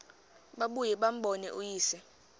babuye bambone uyise